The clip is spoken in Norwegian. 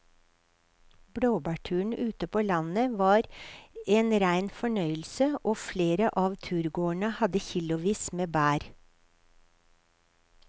Blåbærturen ute på landet var en rein fornøyelse og flere av turgåerene hadde kilosvis med bær.